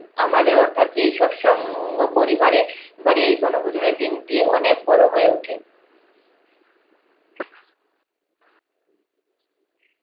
আমাদের অর্থাৎ এই সৎসঙ্গ পরিবারের আবার এই বনভোজনের দিন টি অনেক বড় হয়ে ওঠে।